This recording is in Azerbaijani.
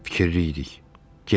fikirli idik.